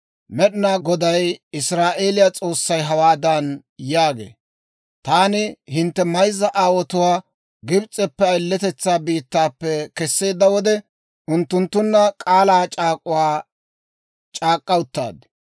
Med'inaa Goday Israa'eeliyaa S'oossay hawaadan yaagee; «Taani hintte mayzza aawotuwaa Gibs'eppe, ayiletetsaa biittaappe kesseedda wode, unttunttunna k'aalaa c'aak'uwaa c'aak'k'a uttaad.